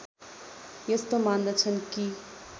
यस्तो मान्दछन् कि